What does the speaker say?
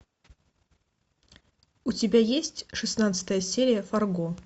у тебя есть шестнадцатая серия фарго